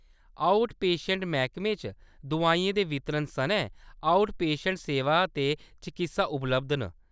Out patient मैह्‌‌‌कमे च दुआइयें दे वितरण सनै आउट पेशेंट सेवां ते चकित्सा उपलब्ध न।